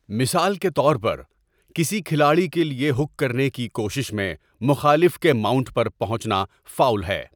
مثال کے طور پر، کسی کھلاڑی کے لیے ہک کرنے کی کوشش میں مخالف کے ماؤنٹ پر پہنچنا فاؤل ہے۔